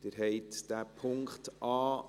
Sie haben den Punkt a